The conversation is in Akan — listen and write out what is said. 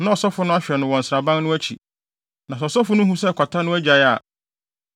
na ɔsɔfo no ahwɛ no wɔ nsraban no akyi. Na sɛ ɔsɔfo no hu sɛ kwata no agyae a,